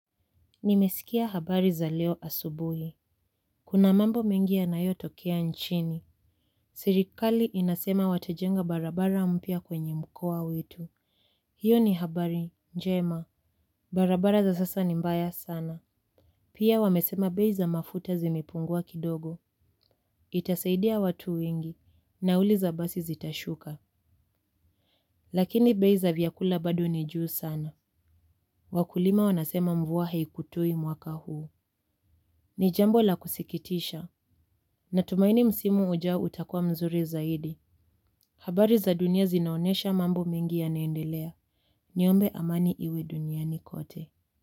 Nimeskia habari za leo asubuhi. Kuna mambo mengi yanayo tokea nchini. Sirikali inasema watajenga barabara mpya kwenye mkoa wetu. Hiyo ni habari, njema. Barabara za sasa ni mbaya sana. Pia wamesema bei za mafuta zimipungua kidogo. Itasaidia watu wengi. Nauli za basi zitashuka. Lakini bei za vyakula bado nijuu sana. Wakulima wanasema mvua haikutui mwaka huu. Ni jambo la kusikitisha. Natumaini msimu ujao utakua mzuri zaidi. Habari za dunia zinaonesha mambo mengi yanaendelea. Niombe amani iwe duniani kote.